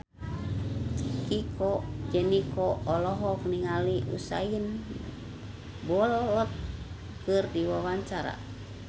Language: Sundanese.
Chico Jericho olohok ningali Usain Bolt keur diwawancara